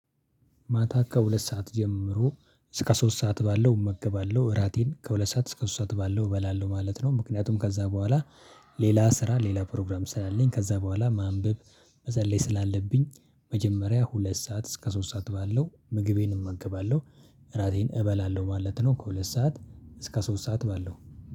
ማታ ከሁለት ሰዓት ጀምሮ እስከ ሶስት ሰዓት ባለው እመግባለሁ እራቴን ከሁለት ሰዓት እስከ ሶስት ሰዓት ባለው እበላለሁ ማለት ነው። ምክንያቱም ከዛ በኋላ። ሌላ ስራ ሌላ ፕሮግራም ስላለኝ ከዛ በኋላ ማንበብ መጸለይ ስላለብኝ መጀመሪያ ሁለት ሰዓት እስከ ሶስት ሰዓት ባለው ምግቤን እመገባለሁ። እራቴን እበላለሁ ማለት ነው ከሁለት ሰዓት እስከ ሶስት ሰዓት ባለው